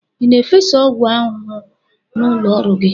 Ị na-efesa ọgwụ ahụhụ n'ụlọ ọrụ gị?